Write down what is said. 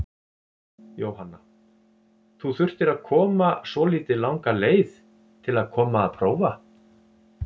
Jóhanna: Þú þurftir að koma svolítið langa leið til að koma að prófa?